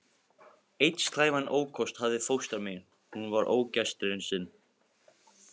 Einn slæman ókost hafði fóstra mín, hún var ógestrisin.